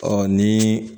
Ɔ ni